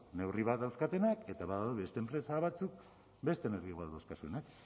neurri bat dauzkatenak eta badaude beste enpresa batzuk beste neurri ba dauzkatenak